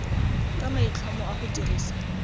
ka maitlhomo a go dirisa